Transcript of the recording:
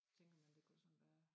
Tænker man det kunne sådan være